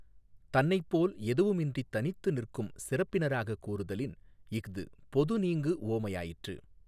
தன்னைப்போல் எதுவும் இன்றித் தனித்து நிற்கும் சிறப்பினராகக் கூறுதலின் இஃது பொது நீங்கு உவமையாயிற்று.